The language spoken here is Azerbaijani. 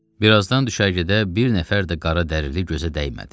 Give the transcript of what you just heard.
Bir azdan düşərgədə bir nəfər də qara dəliri gözə dəymədi.